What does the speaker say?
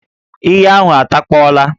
Íyí ahụ atakpọla